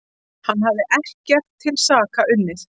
Hann hafði ekkert til saka unnið.